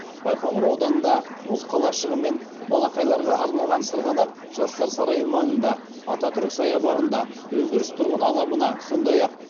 байқоңыр ауданында мұз қалашығы мен балақайларға арналған сырғанақ жастар сарайы маңында ататүрік саябағында өндіріс тұрғын алабына сондай ақ